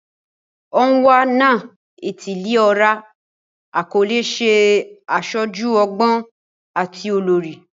Onwa-na-etili-ora akọle ṣe aṣoju ọgbọn ati olori